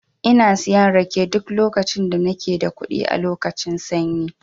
Ina siyan rake duk lokacin da nake da kuɗi a lokacin sanyi.